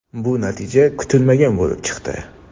Bu natija kutilmagan bo‘lib chiqdi.